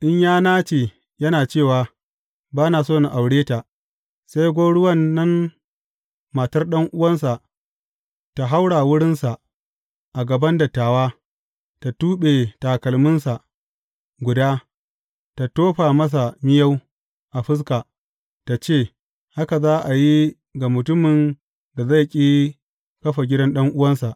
In ya nace yana cewa, Ba na so in aure ta, sai gwauruwan nan, matar ɗan’uwansa tă haura wurinsa a gaban dattawa, tă tuɓe takalminsa guda, ta tofa masa miyau a fuska, tă ce, Haka za a yi ga mutumin da zai ƙi kafa gidan ɗan’uwansa.